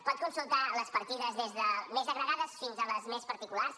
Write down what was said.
pot consultar les partides des de les més agregades fins a les més particulars